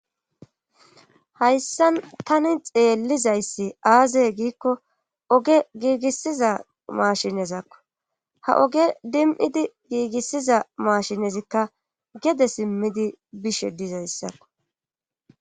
hayssan tani xeellizayssi aazey giikko oge giigissiza maashinezakko ha oge dim7idi giigissiza maashinezikka gede simmidi bishe dizayssakko